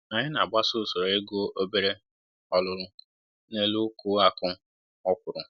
Anyị na-agbaso usoro igu obere olulu n'elu uku akụ ọkwụrụ